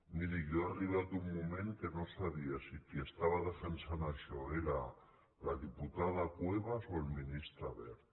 miri jo ha arribat un moment que no sabia si qui estava defensant això era la diputada cuevas o el ministre wert